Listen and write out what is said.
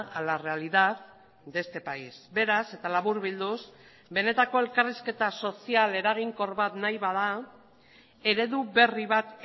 a la realidad de este país beraz eta laburbilduz benetako elkarrizketa sozial eraginkor bat nahi bada eredu berri bat